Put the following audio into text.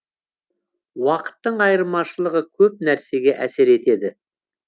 уақыттың айырмашылығы көп нәрсеге әсер етеді